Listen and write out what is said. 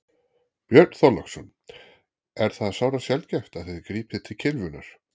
Björn Þorláksson: Er það sárasjaldgæft að þið grípið til kylfunnar?